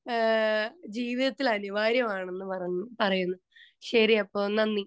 speaker 2 അഹ് ജീവിതത്തിൽ അനിവാര്യമാണെന്ന് പറയുന്നു ശരി അപ്പൊ നന്ദി